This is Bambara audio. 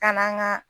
Ka n'an ka